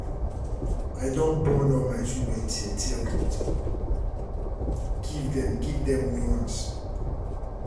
i don burn all my children tear-tear cloth give dem give dem new ones.